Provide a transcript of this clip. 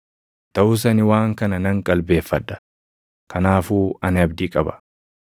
Taʼus ani waan kana nan qalbeeffadha; kanaafuu ani abdii qaba.